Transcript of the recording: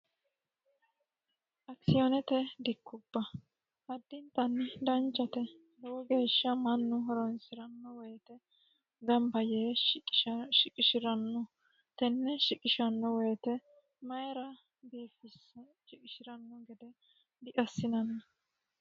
Akisiyoonete dikkubba addinita danichate lowo geesha mannu horosiranote ganibba yee shiqisha shiqishiranno tenne shiqishanno woyte mannu mayra shiqishiranno hede diassinanni